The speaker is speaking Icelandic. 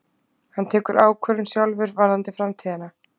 Hann tekur ákvörðun sjálfur varðandi framtíðina